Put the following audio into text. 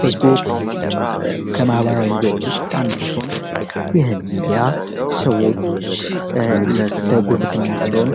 ፌስቡክ ከማህበራዊ ሚዲያዎች ውስጥ አንዱ ሲሆን፤ ይህም ሚዲያ ሰዎች ጉርብትናቸውን